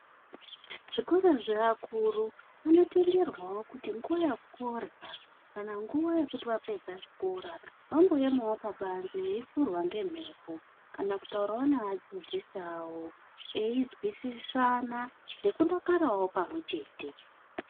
Zvikora zvevakuru, vanotenderwwo kuti nguva yekurya kana nguva yekuti vapedza chikora vamboyema pabani veyifurwa ngemhepo kana kutaura neadzidzisi avo ,eyinzwisisana nekudakara navo pamwechete.